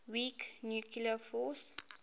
weak nuclear force